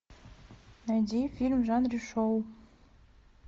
найди фильм в жанре шоу